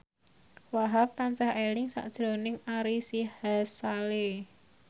Wahhab tansah eling sakjroning Ari Sihasale